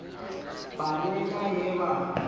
ba ne na ye ba